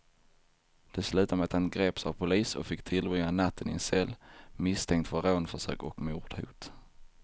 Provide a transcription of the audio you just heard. Det slutade med att han greps av polis och fick tillbringa natten i en cell, misstänkt för rånförsök och mordhot.